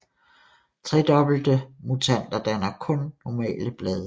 Tredobbelte mutanter danner kun normale blade